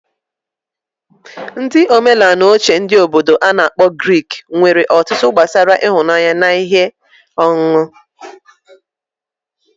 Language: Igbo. Ndi omenala oche ndi Obodo ana akpo Greek nwere otụtụ gbasara ịhụnanya na ihe onụnụ.